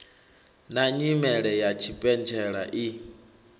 na nyimele ya tshipentshela i